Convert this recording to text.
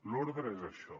l’ordre és això